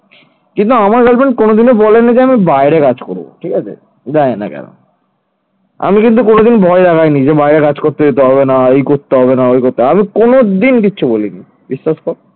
আমি কিন্তু কোনদিন ভয় দেখায়নি যে বাইরে কাজ করতে যেতে হবে না এই করতে হবে না ওই করতে হবে না আমি কোনদিন কিছু বলিনি । বিশ্বাস কর